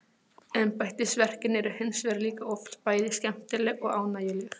Embættisverkin eru hins vegar líka oft bæði skemmtileg og ánægjuleg.